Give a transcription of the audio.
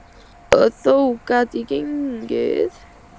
Og þó gat ég gengið.